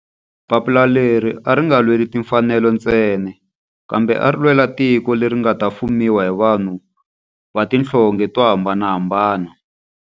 Papila leri a ri nga lweli timfanelo ntsena kambe ari lwela tiko leri nga ta fumiwa hi vanhu va tihlonge to hambanahambana.